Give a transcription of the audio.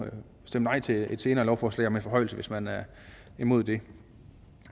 stemme nej til et senere lovforslag om en forhøjelse hvis man er imod det